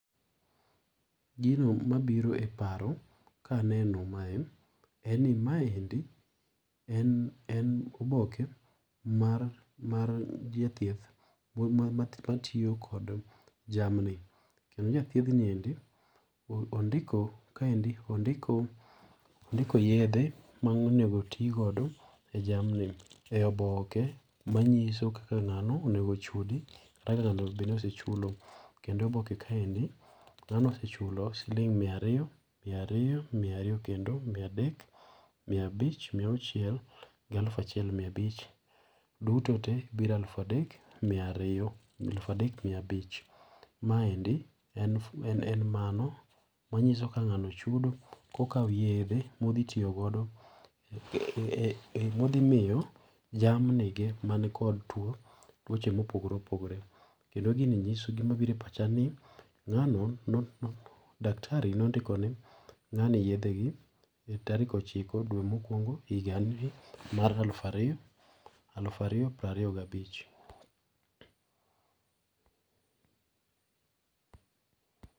Gino mabiro eparo ka aneno mae, en ni mae endi en en oboke mar mar jathieth mo ma matiyo kod jamni.,kendo jathiedhni endi ondiko ka endi ondiko yedhe monego otigo godo jamni e oboke manyiso kaka ng'ano onego ochudi kaka ng'ano onego bedni osechulo. Kendo oboke kae eni ng'ano osechulo siling' mia ariyo, mia ariyo, mia ariyo kendo, mia adek, mia abich, mia auchiel gi alufu achiel mia abich. Duto te biro alufu adek mia ariyo alufu adek mia abich. Ma endi en en mano manyiso kaka ng'ano ochudo kokawo yedhe modhi tiyo godo eee modhi miyo jamni ge man kod tuo, tuoche mopogore opogore. Kendo gini nyiso gima biro e pacha ni ng'ano no daktari no ondikone ng'ani yedhe e tarik ochiko dwe mokuongo higa ni mar alufu ariyo alufu ariyo prariyo gabich.